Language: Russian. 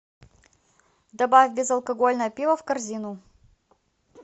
добавь безалкогольное пиво в корзину